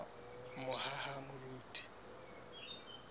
mohahamoriti